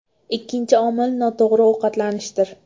Ikkinchi omil noto‘g‘ri ovqatlanishdir.